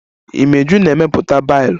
Imeju na-emepụta bailu